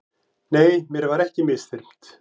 Nei, mér var ekki misþyrmt.